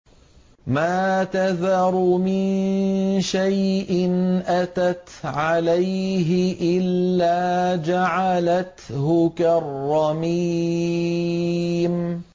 مَا تَذَرُ مِن شَيْءٍ أَتَتْ عَلَيْهِ إِلَّا جَعَلَتْهُ كَالرَّمِيمِ